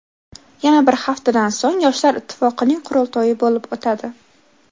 Yana bir haftadan so‘ng Yoshlar ittifoqining qurultoyi bo‘lib o‘tadi.